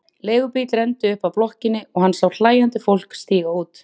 Leigubíll renndi upp að blokkinni og hann sá hlæjandi fólk stíga út.